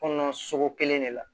Kɔnɔna sogo kelen de la